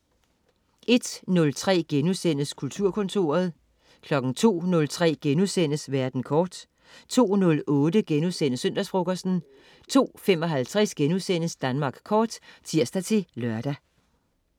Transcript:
01.03 Kulturkontoret* 02.03 Verden kort* 02.08 Søndagsfrokosten* 02.55 Danmark Kort* (tirs-lør)